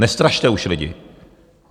Nestrašte už lidi.